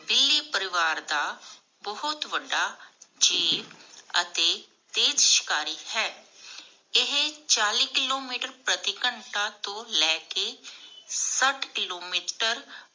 ਬਿੱਲੀ ਪਰਿਵਾਰ ਦਾ ਬਹੁਤ ਵੱਡਾ ਜੀਵ ਅਤੇ ਤੇਜ ਸ਼ਿਕਾਰੀ ਹੈ ਏਹੇ ਚਲੀ ਕਿੱਲੋਮੀਟਰ ਪ੍ਰਤਿ ਘਣਤਾ ਤੋਂ ਲੈਕੇ ਸ਼ਠ ਕਿਲੋਮੀਟਰ